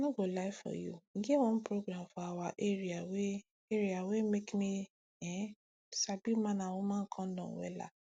i no go lie for you e get one program for awa area wey area wey make me[um]sabi man and woman condom wella